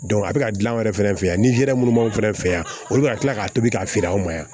a bɛ ka gilan an yɛrɛ fɛnɛ fɛ yan ni hɛrɛ munnu b'anw fɛ yan olu bɛ ka tila k'a tobi k'a feere anw ma yan